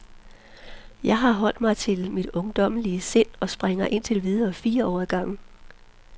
Jeg har holdt mig til mit ungdommelige sind og springer indtil videre fire år ad gangen.